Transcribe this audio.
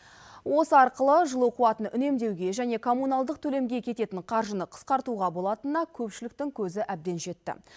осы арқылы жылу қуатын үнемдеуге және коммуналдық төлемге кететін қаржыны қысқартуға болатынына көпшіліктің көзі әбден жетті